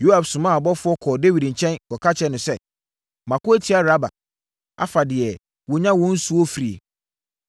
Yoab somaa abɔfoɔ kɔɔ Dawid nkyɛn, kɔka kyerɛɛ no sɛ, “Mako atia Raba, afa deɛ wɔnya wɔn nsuo firie.